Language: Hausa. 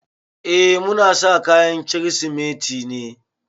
Eh muna sa kayan Kirsimeti ne.